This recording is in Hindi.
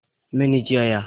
मैं नीचे आया